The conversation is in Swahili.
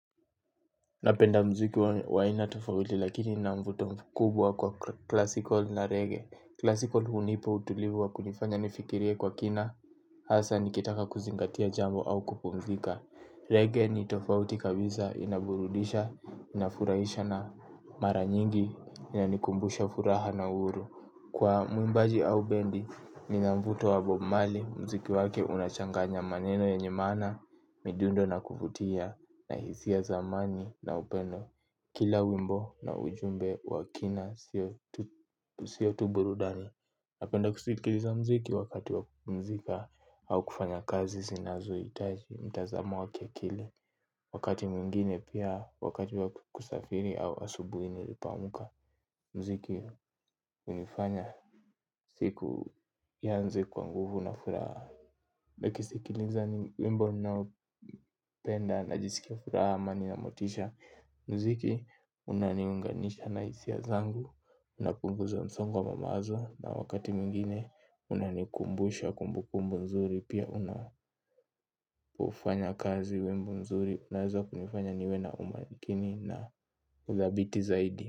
Napenda mziki wa aina tofauti lakini ina mvuto mkubwa kwa kila siku na reggae. Kila siku hunipa utulivu wa kunifanya nifikirie kwa kina. Hasa nikitaka kuzingatia jambo au kupumzika. Reggae ni tofauti kabisa inaburudisha, inafurahisha na mara nyingi. Inanikumbusha furaha na huru. Kwa muimbaji au bendi, nina mvuto wa Bob Marley. Mziki wake unachanganya maneno yenye maana. Midundo na kuvutia na hisia za amani na upendo. Kila wimbo na ujumbe wa kina siyo tu burudani. Napenda kusikiliza mziki wakati wa kupumzika au kufanya kazi zinazohitaji mtazamo wa kiakili wakati mwingine pia wakati wa kusafiri au asubuhi nilipoamka mziki hunifanya siku ianze kwa nguvu na furaha nikisikiliza wimbo ninaopenda najiskia furaha amani na motisha. Mziki unaniunganisha na hisia zangu napunguza msongo wa mawazo na wakati mwingine unanikumbusha kumbukumbu nzuri pia una hufanya kazi wimbo nzuri hunifanya niwe na umakini na uthabiti zaidi.